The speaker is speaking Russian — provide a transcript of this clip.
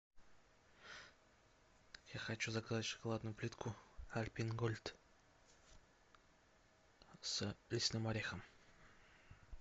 я хочу заказать шоколадную плитку альпен гольд с лесным орехом